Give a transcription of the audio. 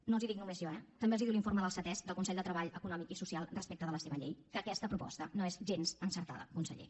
no els ho dic només jo eh també els ho diu l’informe del ctesc del consell de treball econòmic i social respecte de la seva llei que aquesta proposta no és gens encertada conseller